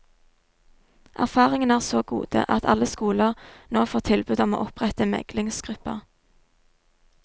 Erfaringene er så gode at alle skoler nå får tilbud om å opprette meglingsgrupper.